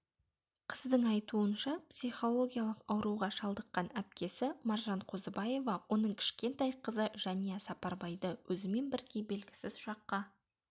қыздың айтуынша психологиялық ауруға шалдыққан әпкесі маржанқозыбаева оның кішкентай қызы жәния сапарбайды өзімен бірге белгісіз жаққа